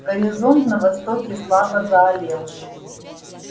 горизонт на востоке слабо заалел